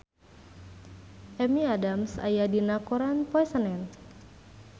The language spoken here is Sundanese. Amy Adams aya dina koran poe Senen